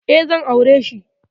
E, zan aure shi.